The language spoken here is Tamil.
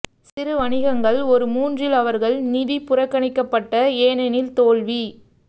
சிறு வணிகங்கள் ஒரு மூன்றில் அவர்கள் நிதி புறக்கணிக்கப்பட்ட ஏனெனில் தோல்வி